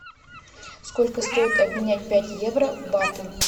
сколько стоит обменять пять евро в баты